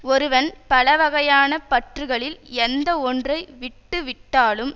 ஒருவன் பல வகையான பற்றுகளில் எந்த ஒன்றை விட்டு விட்டாலும்